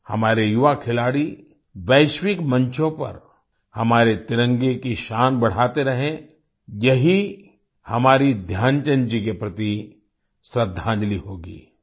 हमारे युवा खिलाड़ी वैश्विक मंचों पर हमारे तिरंगे की शान बढ़ाते रहें यही हमारी ध्यानचंद जी के प्रति श्रद्दांजलि होगी